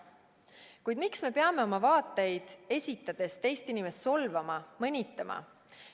Kuid miks me peame oma vaateid esitades teist inimest solvama, mõnitama?